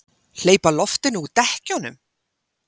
Hleypa loftinu úr dekkjunum!